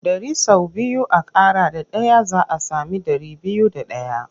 Ɗari sau biyu a ƙara da ɗaya za a sami ɗari biyu da ɗaya.